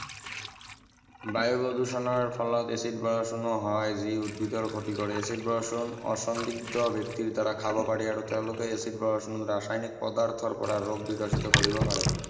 বায়ু প্ৰদূষণৰ ফলত এচিড বৰষুণ হয় যি উদ্ভিদৰ ক্ষতি কৰে এচিড বৰষুণ ব্যক্তিৰ দ্বাৰা খাব পাৰি আৰু তেওঁলোকে এচিড বৰষুণত ৰাসায়নিক পদাৰ্থৰ পৰা ৰোগ বিকশিত কৰিব পাৰে